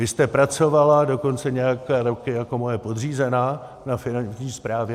Vy jste pracovala dokonce nějaké roky jako moje podřízená na Finanční správě.